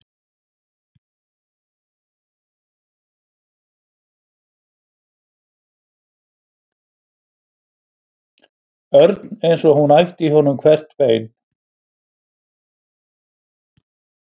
Örn eins og hún ætti í honum hvert bein.